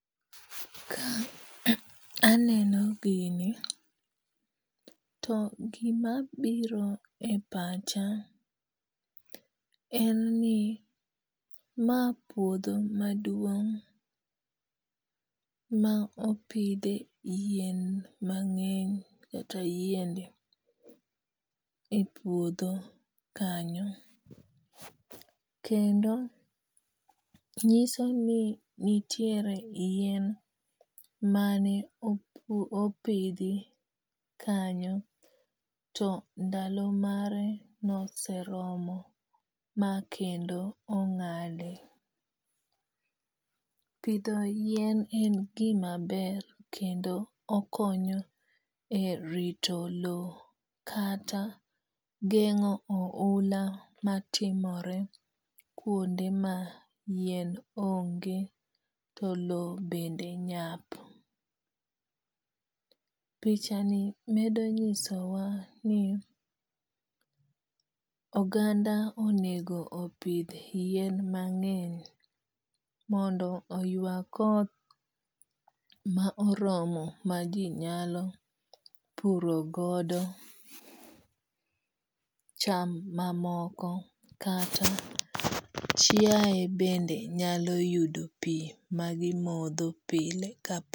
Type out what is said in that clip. Ka aneno gini, to gima biro e pacha en ni ma puodho maduong' ma opidhe yien mang'eny kata yiende e puodho kanyo. Kendo nyiso ni nitiere yien mane opidhi kanyo to ndalo mare noseromo ma kendo ong'ade. Pidho yien en gima ber kendo okonyo e rito low kata geng'o oula matimore kuonde ma yien onge to low bende nyap. Picha ni medo nyiso wa ni oganda onego opidh yien mang'eny mondo oywa koth ma oromo ma ji nyalo puro godo cham mamoko kata chiaye bende nyalo yudo pi magimodho pile.